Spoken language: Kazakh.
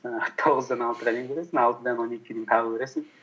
жаңағы тоғыздан алтыға дейін көресің алтыдан он екіге дейін тағы көресің